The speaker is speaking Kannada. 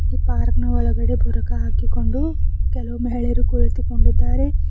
ಈ ಪಾರ್ಕ್ ನ ಒಳಗಡೆ ಬುರ್ಖಾ ಹಾಕಿಕೊಂಡು ಕೆಲವು ಮಹಿಳೆಯರು ಕುಳಿತುಕೊಂಡಿದ್ದಾರೆ.